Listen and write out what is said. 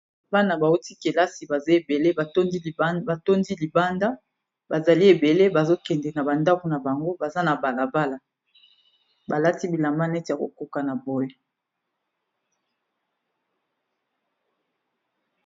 bana bauti kelasi baza ebele batondi libanda bazali ebele bazokende na bandambu na bango baza na balabala balati bilama neti ya kokoka na boy